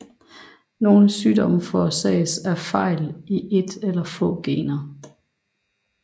Nogle sygdomme forårsages af fejl i et eller få gener